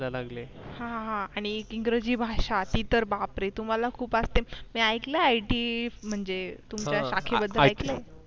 ह हा आणि इंग्रजी भाषा ति तर बापरे तुम्हाला खूप असते मी ऐकलं आहे it म्हणजे तुमच्या शाखेबद्दल ऐकलं आहे